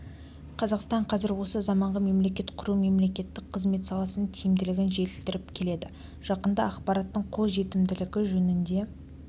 қазақстан қазір осы заманғы мемлекет құру мемлекеттік қызмет саласын тиімділігін жетілдіріп келеді жақында ақпараттың қолжетімділігі жөнінде